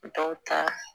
Dɔw ta